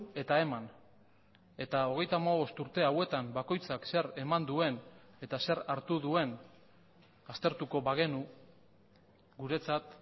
eta eman eta hogeita hamabost urte hauetan bakoitzak zer eman duen eta zer hartu duen aztertuko bagenu guretzat